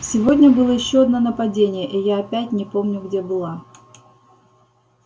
сегодня было ещё одно нападение и я опять не помню где была